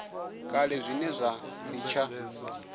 kale zwine zwa si tsha